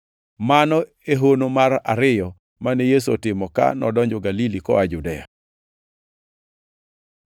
Mano e hono mar ariyo mane Yesu otimo, ka nodonjo Galili koa Judea.